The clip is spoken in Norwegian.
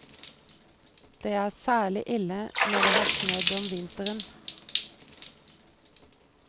Det er særlig ille når det har snødd om vinteren.